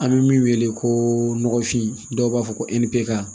An bɛ min wele ko nɔgɔfin dɔw b'a fɔ ko